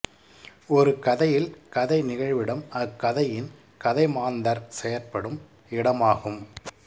ஒரு கதையில் கதை நிகழ்விடம் அக் கதையின் கதைமாந்தர் செயற்படும் இடமாகும்